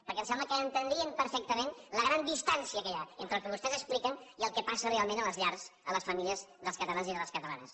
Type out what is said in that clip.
perquè em sembla que entendrien perfectament la gran distància que hi ha entre el que vostès expliquen i el que passa realment a les llars a les famílies dels catalans i de les catalanes